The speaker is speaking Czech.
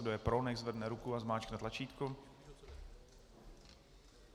Kdo je pro, nechť zvedne ruku a zmáčkne tlačítko.